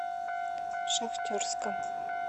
шахтерска